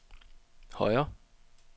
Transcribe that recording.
højere